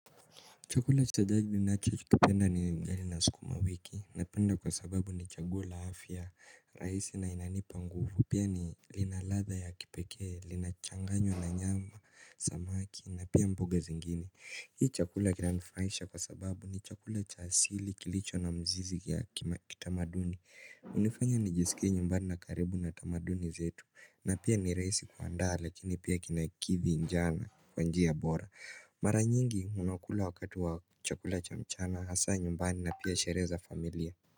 Chakula cha jadi ninacho kipenda ni ugali na sukuma wiki napenda kwa sababu ni changuo la afya rahisi na inanipa nguvu. Pia ni linaladha ya kipeke, linachanganywa na nyama, samaki na pia mboga zingini. Hii chakula kilanifurahisha kwa sababu ni chakula cha asili kilicho na mzizi ya kitamaduni. Unifanya nijisikia nyumbani na karibu na tamaduni zetu na pia ni rahisi kuandaa lakini pia kinakithi njaa kwa njia bora. Mara nyingi unaokula wakati wa chakula cha mchana hasa nyumbani na pia sherehe za familia.